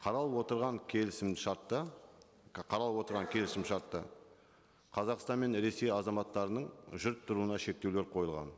қаралып отырған келісімшартта қаралып отырған келісімшартта қазақстан мен ресей азаматтарының жүріп тұруына шектеулер қойылған